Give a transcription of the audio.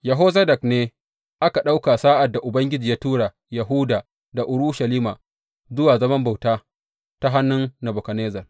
Yehozadak ne aka ɗauka sa’ad da Ubangiji ya tura Yahuda da Urushalima zuwa zaman bauta ta hannun Nebukadnezzar.